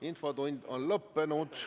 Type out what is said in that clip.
Infotund on lõppenud.